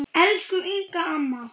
Elsku Inga amma.